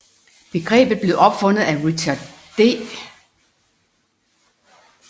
Begrebet blev opfundet af Richard D